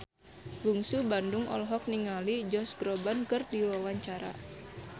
Bungsu Bandung olohok ningali Josh Groban keur diwawancara